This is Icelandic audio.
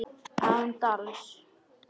Án dals.